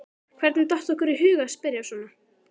Hvernig datt okkur í hug að spyrja svona!